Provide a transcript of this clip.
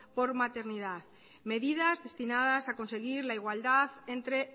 por maternidad medidas destinadas a conseguir la igualdad entre